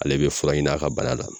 Ale bɛ fura ɲini a ka bana la .